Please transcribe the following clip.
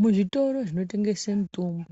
Muzvitoro zvinotengese mitombo